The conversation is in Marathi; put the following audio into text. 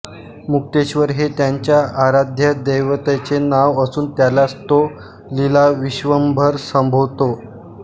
मुक्तेश्वर हे त्यांच्या आराध्यदैवतचे नाव असून त्यालाच तो लीला विश्वंभर संबोधतो